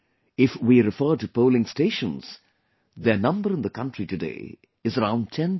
If we refer to polling stations, their number in the country today is around 10